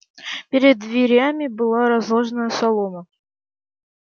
перед дверями была разложена солома